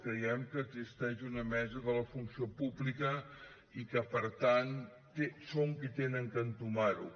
creiem que existeix una mesa de la funció pública i que per tant són qui han d’entomar ho